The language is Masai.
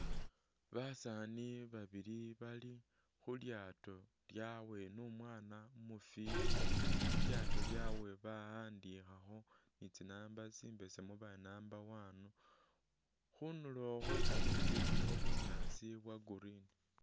Basani babili bali khulyato lyawe ni umwana umufiti, ilyato lyawe bawandikhakho ni tsinamba tsimbesemu bari number one, khundulo khwe kametsi khulikho bunyaasi bwa green.